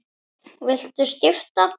Viltu skipta?